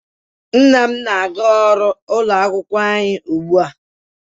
Nna m na-aga ọrụ ụlọ akwụkwọ anyị ugbu a.